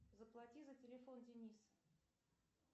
заплати за телефон дениса